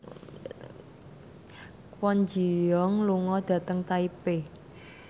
Kwon Ji Yong lunga dhateng Taipei